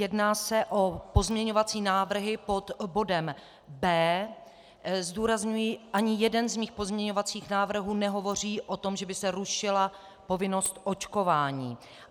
Jedná se o pozměňovací návrhy pod bodem B. Zdůrazňuji, ani jeden z mých pozměňovacích návrhů nehovoří o tom, že by se rušila povinnost očkování.